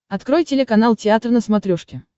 открой телеканал театр на смотрешке